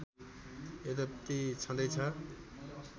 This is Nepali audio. यद्यपि छँदैछ